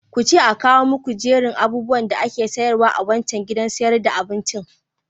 Kuce a kawo muku jerin abubuwan da ake sayarwa a wancan gidan sayar da abincin.